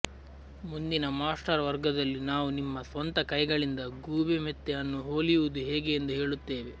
ಮುಂದಿನ ಮಾಸ್ಟರ್ ವರ್ಗದಲ್ಲಿ ನಾವು ನಿಮ್ಮ ಸ್ವಂತ ಕೈಗಳಿಂದ ಗೂಬೆ ಮೆತ್ತೆ ಅನ್ನು ಹೊಲಿಯುವುದು ಹೇಗೆ ಎಂದು ಹೇಳುತ್ತೇವೆ